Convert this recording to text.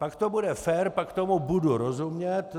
Pak to bude fér, pak tomu budu rozumět.